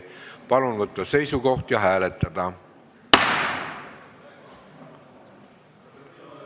Palun võtta seisukoht ja hääletada!